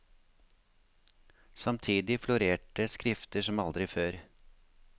Samtidig florerte skrifter som aldri før.